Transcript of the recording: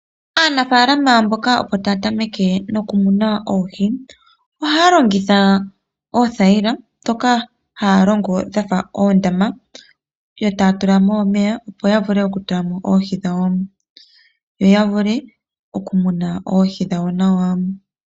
Aanafalama mboka opo taya tameke okumuna oohi, ohaya longitha oothayila ndhoka hayalongo dhafa oondama, eta yatula mo omeya opo yavule okutula mo oohi dhawo, yo yavule okumuna oohi nawa.